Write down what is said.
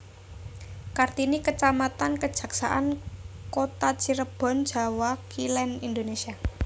Kartini kecamatan Kejaksaan Kota Cirebon Jawa Kilen Indonésia